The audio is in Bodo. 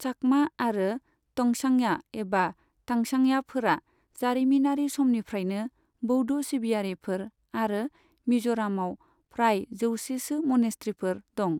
चाकमा आरो तंगचांया एबा तांचांयाफोरा जारिमिनारि समनिफ्रायनो बौद्ध सिबियारिफोर आरो मिज'रमआव फ्राय जौसे सो मनेस्ट्रिफोर दं।